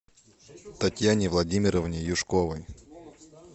татьяне владимировне юшковой